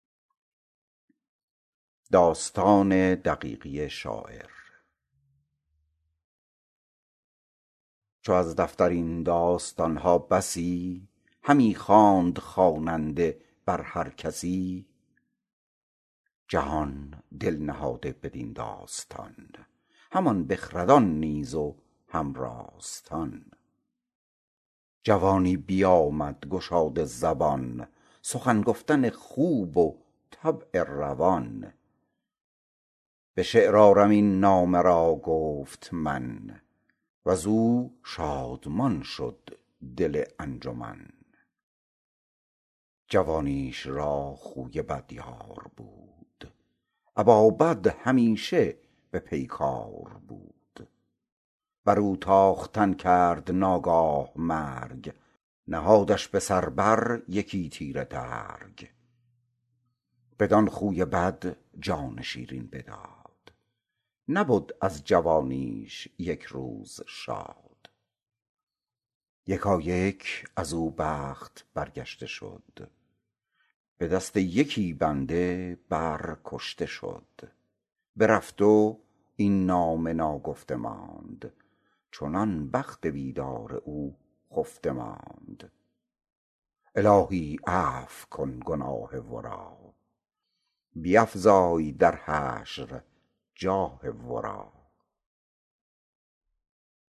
چو از دفتر این داستان ها بسی همی خواند خواننده بر هر کسی جهان دل نهاده بدین داستان همان بخردان نیز و هم راستان جوانی بیامد گشاده زبان سخن گفتن خوب و طبع روان به شعر آرم این نامه را گفت من از او شادمان شد دل انجمن جوانیش را خوی بد یار بود ابا بد همیشه به پیکار بود بر او تاختن کرد ناگاه مرگ نهادش به سر بر یکی تیره ترگ بدان خوی بد جان شیرین بداد نبد از جوانیش یک روز شاد یکایک از او بخت برگشته شد به دست یکی بنده بر کشته شد برفت او و این نامه ناگفته ماند چنان بخت بیدار او خفته ماند الهی عفو کن گناه ورا بیفزای در حشر جاه ورا